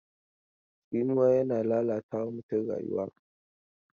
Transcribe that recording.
Tsinuwa yana lalata wa mutum rayuwa.